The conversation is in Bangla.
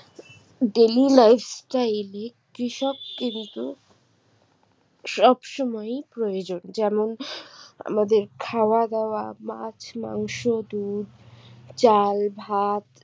daily life style এ কৃষক কিন্তু সব সময়ই প্রয়োজন যেমন আমাদের খাওয়া দাওয়া বা মাছ মাংস দুধ চাল ভাত